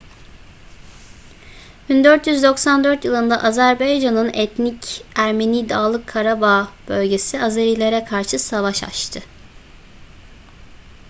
1994 yılında azerbaycan'ın etnik ermeni dağlık karabağ bölgesi azerilere karşı savaş açtı